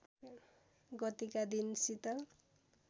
गतेका दिन सितल